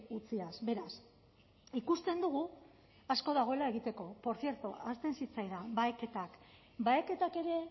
utziaz beraz ikusten dugu asko dagoela egiteko portzierto ahazten zitzaidan baheketak baheketak ere